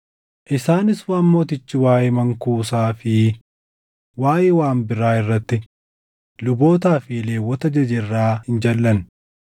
Isaanis waan mootichi waaʼee mankuusaa fi waaʼee waan biraa irratti lubootaa fi Lewwota ajaje irraa hin jalʼanne.